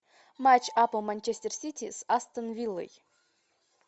матч апл манчестер сити с астон виллой